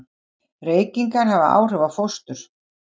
Reykingar hafa áhrif á fóstur.